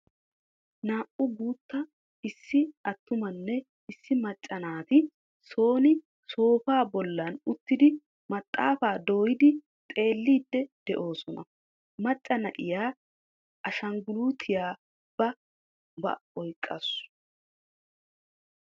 Naa"u guutta issi atummanne issi maacca naati soon sooppaa bollan uttidi maxaafaa dooyidi xeellidi de'oosona. Macca na'iya ashanguluutiya ba oyqaasu.